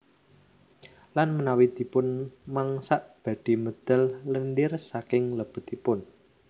Lan menawi dipun mangsak badhe medal lendir saking lebetipun